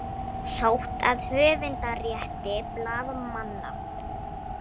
Sótt að höfundarétti blaðamanna